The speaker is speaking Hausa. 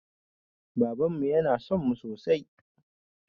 Babanmu yana sonmu sosai